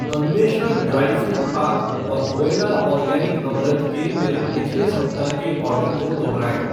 अन्वेषण dry fruit pack और Voila organic amaranth के मेरे पिछले सप्ताह के आर्डर को दोहराएँ।